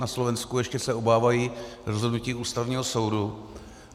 Na Slovensku se ještě obávají rozhodnutí Ústavního soudu.